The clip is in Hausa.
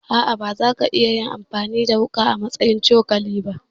A'a bazai yiwu kayi amfani da wuƙa a madadin cokali ba.